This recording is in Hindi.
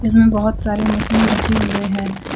यहाँ बहुत सारे मशीन रखे हुए हैं।